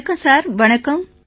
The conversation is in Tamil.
வணக்கம் சார் வணக்கம்